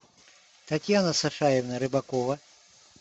татьяна сашаевна рыбакова